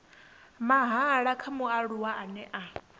mahala kha mualuwa ane a